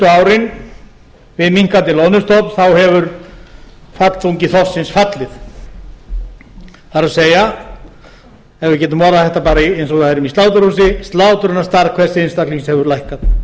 árin við minnkandi loðnustofn hefur fallþungi þorsksins fallið það er ef við getum orðað þetta bara eins og það er í sláturhúsi slátrunarstærð hvers einstaklings hefur lækkað ef við værum